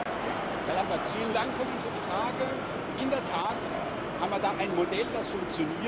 Herr Lamberts, vielen Dank für diese Frage! In der Tat haben wir da ein Modell, das funktioniert.